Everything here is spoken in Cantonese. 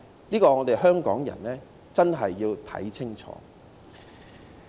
對此，香港人真的要看清楚。